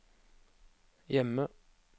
hjemme